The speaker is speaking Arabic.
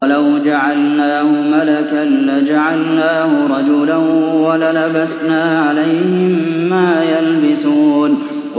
وَلَوْ جَعَلْنَاهُ مَلَكًا لَّجَعَلْنَاهُ رَجُلًا وَلَلَبَسْنَا عَلَيْهِم مَّا يَلْبِسُونَ